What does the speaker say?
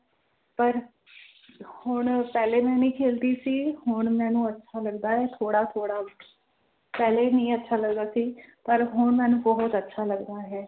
ਪਰ ਹੁਣ ਪਹਿਲੇ ਮੈਂ ਨੀ ਖੇਲਦੀ ਸੀ ਹੁਣ ਮੈਨੂੰ ਅੱਛਾ ਲੱਗਦਾ ਹੈ ਥੋੜ੍ਹਾ ਥੋੜ੍ਹਾ ਪਹਿਲੇ ਨਹੀਂ ਅੱਛਾ ਲੱਗਦਾ ਸੀ ਪਰ ਹੁਣ ਮੈਨੂੰ ਬਹੁਤ ਅੱਛਾ ਲੱਗਦਾ ਹੈ।